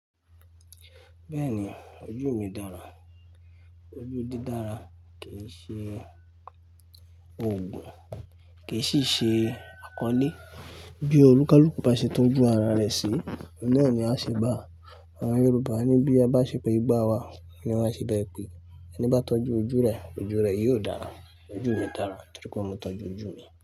Bẹ́ẹ̀ni, ojú mi dára. Ojú dídára kìí ṣe oògùn, kìí sì ṣe àkọle. Bí olùkálùku baṣe tọ́jú ara rẹ̀ sí, oun naa ni á ṣe bà á. Àwọn Yorùbá ni bí a bá ṣe pẹ ìgbá wa ni wọn á ṣe bẹ̀ẹ́ pèé. Ẹni bá tọ́jú ojú rẹ̀, ojú rẹ̀ yóò dára. Ojú mi dára torí pé mo tọ́jú ojú mi.